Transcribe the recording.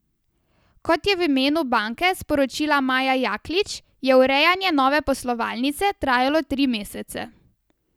Kot je v imenu banke sporočila Maja Jaklič, je urejanje nove poslovalnice trajalo tri mesece.